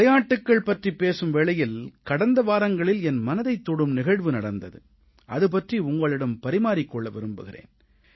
விளையாட்டுகள் பற்றிப் பேசும் வேளையில் கடந்த வாரங்களில் என் மனதைத் தொடும் நிகழ்வு நடந்தது அது பற்றி உங்களிடம் பரிமாறிக் கொள்ள விரும்புகிறேன்